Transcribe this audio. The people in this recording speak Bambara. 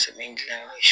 Sɛmɛni dilanyɔrɔ ye